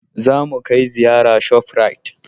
Zamu kai ziyara shaprait